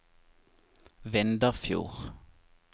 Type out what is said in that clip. Vindafjord